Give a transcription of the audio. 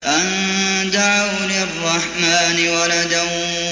أَن دَعَوْا لِلرَّحْمَٰنِ وَلَدًا